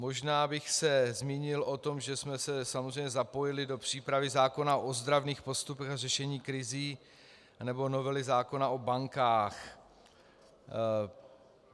Možná bych se zmínil o tom, že jsme se samozřejmě zapojili do přípravy zákona o ozdravných postupech a řešení krizí nebo novely zákona o bankách.